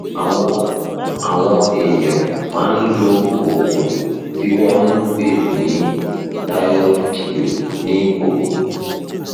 àwọn àwọn èèyàn máa ń lo oògùn tí wọn ń pè ní thyroid pill ní òwúrọ